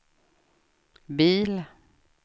bil